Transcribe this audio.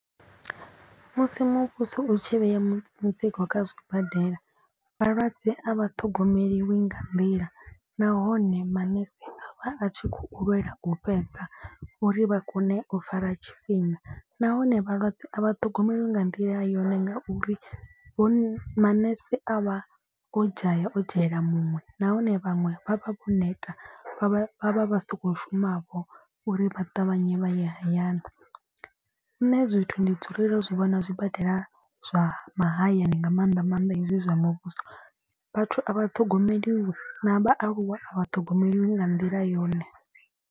Musi muvhuso u tshi vhea mutsiko kha zwibadela vhalwadze a vha ṱhogomeliwi nga nḓila. Nahone manese avha a tshi khou lwelwa u fhedza uri vha kone u fara tshifhinga. Nahone vhalwadze a vha ṱhogomelwa nga nḓila yone nga uri hone manese a vha o dzhaya o dzhaela muṅwe. Nahone vhaṅwe vha vha vho neta vha vha vha vha so khou shuma vho uri vha ṱavhanye vha ye hayani. Nṋe zwithu ndi dzulele u zwi vhona zwibadela zwa mahayani nga maanḓa maanḓa hezwi zwa muvhuso. Vhathu a vha ṱhogomeliwi na vhaaluwa a vha ṱhogomeliwi nga nḓila yone.